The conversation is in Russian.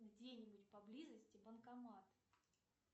где нибудь поблизости банкомат